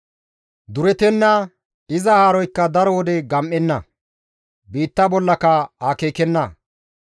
Duretenna; iza haaroykka daro wode gam7enna; biitta bollaka aakkenna.